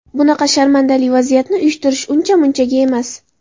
Bunaqa sharmandali vaziyatni uyushtirish uncha munchaga emas.